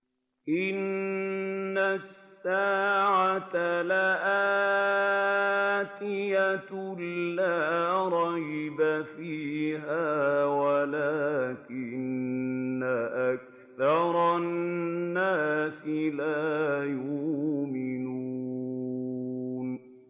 إِنَّ السَّاعَةَ لَآتِيَةٌ لَّا رَيْبَ فِيهَا وَلَٰكِنَّ أَكْثَرَ النَّاسِ لَا يُؤْمِنُونَ